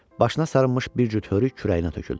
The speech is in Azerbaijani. Başına sarılmış bir cüt hörük kürəyinə töküldü.